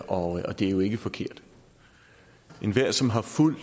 og det er ikke forkert enhver som har fulgt